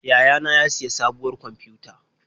Yayana ya siya sabuwar kwamfiyuta.